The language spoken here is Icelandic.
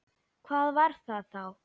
Hvað var það þá?